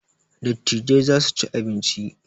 Dattijai za su ci abinci